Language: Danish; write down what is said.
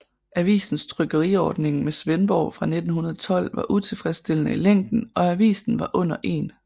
Avisens trykkeriordning med Svendborg fra 1912 var utilfredsstillende i længen og avisen var under 1